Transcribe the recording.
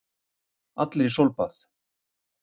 Allir í sólbað!